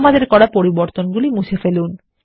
আমাদের করা পরিবর্তনগুলি মুছে ফেলুন